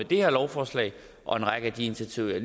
det her lovforslag og en række af de initiativer jeg